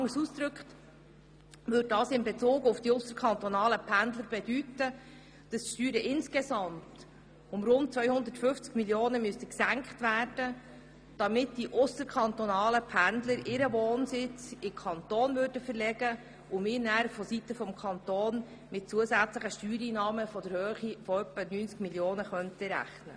Anders ausgedrückt würde das mit Bezug zu den ausserkantonalen Pendlern bedeuten, dass die Steuern insgesamt um rund 250 Mio. Franken gesenkt werden müssten, damit die ausserkantonalen Pendler ihren Wohnsitz in den Kanton Bern verlegen, und wir von Seiten des Kantons mit zusätzlichen Steuereinnahmen in der Höhe von etwa 90 Mio. rechnen könnten.